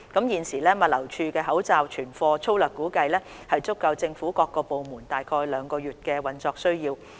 現時，物流署的口罩存貨粗略估計足夠政府各部門約兩個月的運作需要。